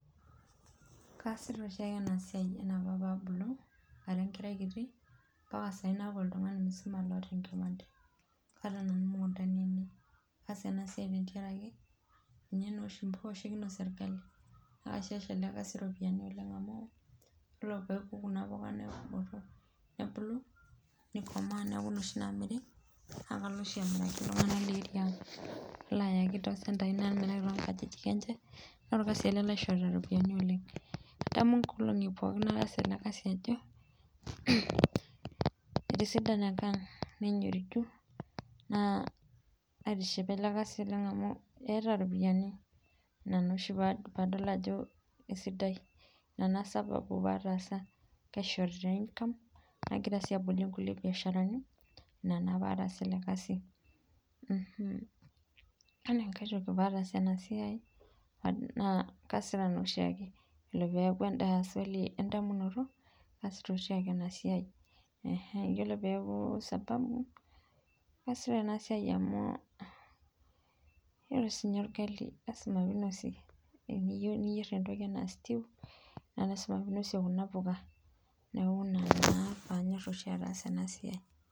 Kaasita oshiake enaa siai enaapa paabulu ,ara enkerai kiti , empaka sahii naaku oltungani msima loota enkipande .Kaata nanu imukuundani ainei. Kaasa enasiai tengaraki, ninye naa oshi mboosho nikinosie orngali, naasie sii oshi ele kaasi oropiyiani oleng amu, woree peeku kuna puka nebulu ,nikomaa niaku noshi naamiri , naakalo oshi amiraki iltunganak lee aria aaang naloo ayaaki toosendai, namiraki toonkajijik enye, naa orkasi ele laishorita iroopiyani oleng. Adamu inkolongi pookin nataasa ele kaasi ajo, umh, etisidana enkang nenyoriju naa aitishipa ele kaasi oleng amu, eeta oropiyiani inaa oshi nanu paadol ajo isidai, inaa naa sababu paatasa. Kaishorita enkang , nagira sii abolie ngulie biasharani inaa naa paatasa ele kasi. Wore enkai toki patasa enasiai , naa kaasita naa oshiake. Ore pee eku enda swali endamunoto, kaasita oshiake enasiai. Iyiolo pee eku sababu, kaasita enasiai amu iyilolo sii ninye orgali lasima pee inosieki. Tee niyeu niyerr entoki enaa stew naa ninye oshi nanu ainosie kuna puka. Niaku naa ina oshi paanyor ataasa enasiai.